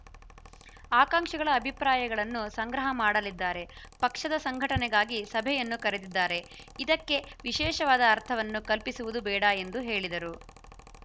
ಆಕಾಂಕ್ಷಿಗಳ ಅಭಿಪ್ರಾಯಗಳನ್ನು ಸಂಗ್ರಹ ಮಾಡಲಿದ್ದಾರೆ ಪಕ್ಷದ ಸಂಘಟನೆಗಾಗಿ ಸಭೆಯನ್ನು ಕರೆದಿದ್ದಾರೆ ಇದಕ್ಕೆ ವಿಶೇಷವಾದ ಅರ್ಥವನ್ನು ಕಲ್ಪಿಸುವುದು ಬೇಡ ಎಂದು ಹೇಳಿದರು